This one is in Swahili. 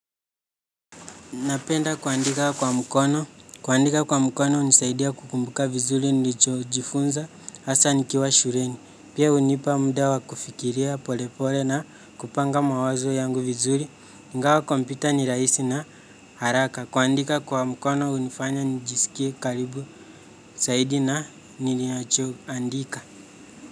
Napenda kuandika kwa mkono, kuandika kwa mkono hunisaidia kukumbuka vizuri nilichojifunza, hasa nikiwa shureni, pia hunipa mda wa kufikiria pole pole na kupanga mawazo yangu vizuri, ingawa kompyuta ni rahisi na haraka, kuandika kwa mkono hunifanya nijisikie karibu, saidi na ninachoandika.